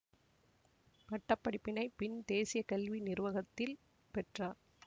பட்ட படிப்பினை பின் தேசிய கல்வி நிறுவகத்தில் பெற்றார்